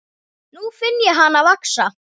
Nú finn ég hana vaxa.